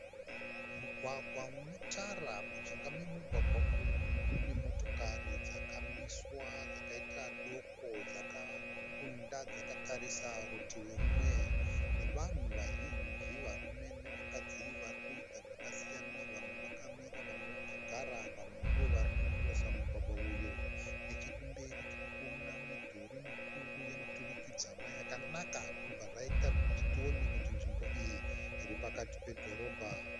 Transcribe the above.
Mugwagwa une tara mujinga memugwagwa umu mune motokari dzakamiswa dzakaita doko dzakaronda dzakatarisa rutivi rumwe nevanhu vazhinji varume nevakadzi varikuita zvakasiyana vamwe vakamira vamwe vakagara vamwe ndivo vari kukirosa mugwagwa uyu nechekumberi tiri kuona midhuri mikuru yemiturikidzanwa yakanaka zvichibva zvaita kuti tione kuti nzvimbo iyi iri pakati pedhorobha.